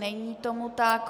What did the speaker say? Není tomu tak.